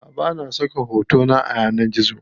Aʼa bana saka hotona a yanar gizo.